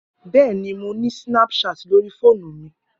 Bẹẹni, Mo ni snapchat lori foonu mi.